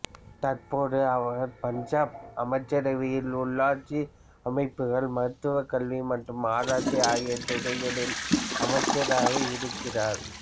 தற்போது அவர் பஞ்சாப் அமைச்சரவையில் உள்ளாட்சி அமைப்புகள் மருத்துவ கல்வி மற்றும் ஆராய்ச்சி ஆகிய துறைகளின் அமைச்சராக இருக்கிறார்